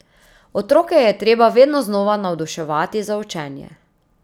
Otroke je treba vedno znova navduševati za učenje.